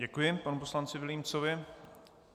Děkuji panu poslanci Vilímcovi.